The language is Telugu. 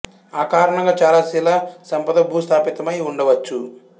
ఆ కారణంగా చాల శిలా సంపద భూస్థాపితమై ఉండ వచ్చు